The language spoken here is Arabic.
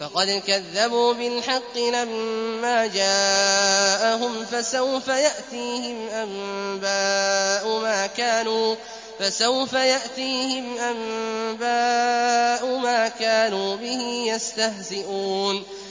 فَقَدْ كَذَّبُوا بِالْحَقِّ لَمَّا جَاءَهُمْ ۖ فَسَوْفَ يَأْتِيهِمْ أَنبَاءُ مَا كَانُوا بِهِ يَسْتَهْزِئُونَ